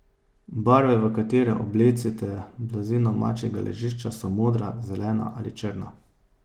Barve, v katere oblecite blazino mačjega ležišča, so modra, zelena ali črna.